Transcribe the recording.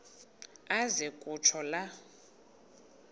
aze kutsho la